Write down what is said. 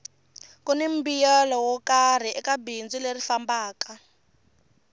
kuni mbuyelo wo karhi eka bindzu leri fambaka